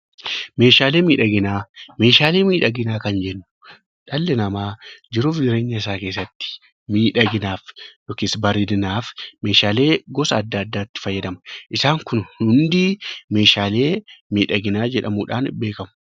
Meeshaalee miidhaginaa meeshalee miidhaginaa kan jennuun dhalli namaa jiraachuuf jireenya isaa keessatti miidhaginaf yookiis bareedulinaaf meeshaalee gosa adda addaatti fayyadamu isaan kun kun hundi meeshaalee miidhaginaa jedhamuudhaan beekkamu.